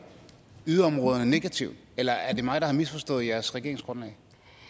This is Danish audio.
yderområderne negativt eller er det mig der har misforstået jeres regeringsgrundlag